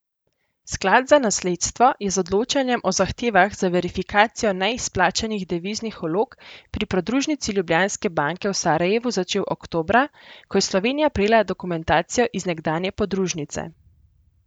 Sklad za nasledstvo je z odločanjem o zahtevah za verifikacijo neizplačanih deviznih vlog pri podružnici Ljubljanske banke v Sarajevu začel oktobra, ko je Slovenija prejela dokumentacijo iz nekdanje podružnice.